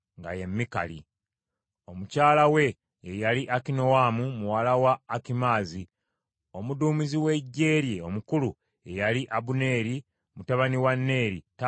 Omukyala we ye yali Akinoamu muwala wa Akimaazi. Omuduumizi w’eggye lye omukulu ye yali Abuneeri mutabani wa Neeri, taata wa Sawulo omuto.